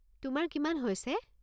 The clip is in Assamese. তোমাৰ কিমান হৈছে?